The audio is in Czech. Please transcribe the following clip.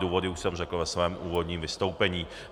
Důvody už jsem řekl ve svém úvodním vystoupení.